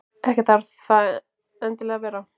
Ekki þarf það endilega að vera.